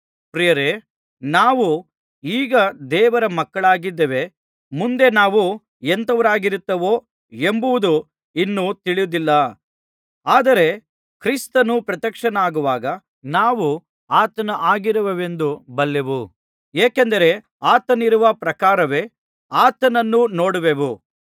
ಪ್ರಿಯರೇ ನಾವು ಈಗ ದೇವರ ಮಕ್ಕಳಾಗಿದ್ದೇವೆ ಮುಂದೆ ನಾವು ಎಂಥವರಾಗಿರುತ್ತೆವೋ ಎಂಬುದು ಇನ್ನೂ ತಿಳಿದಿಲ್ಲ ಆದರೆ ಕ್ರಿಸ್ತನು ಪ್ರತ್ಯಕ್ಷನಾಗುವಾಗ ನಾವು ಆತನ ಹಾಗಿರುವೆವೆಂದು ಬಲ್ಲೆವು ಏಕೆಂದರೆ ಆತನಿರುವ ಪ್ರಕಾರವೇ ಆತನನ್ನು ನೋಡುವೆವು